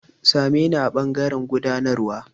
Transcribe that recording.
Sa me ni a ɓangaren gudanarwa.